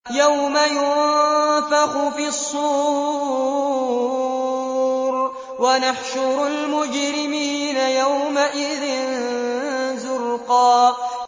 يَوْمَ يُنفَخُ فِي الصُّورِ ۚ وَنَحْشُرُ الْمُجْرِمِينَ يَوْمَئِذٍ زُرْقًا